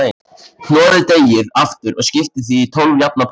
Hnoðið deigið aftur og skiptið því í tólf jafna parta.